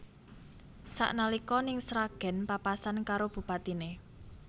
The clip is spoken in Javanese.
Sak nalika ning Sragen papasan karo bupatine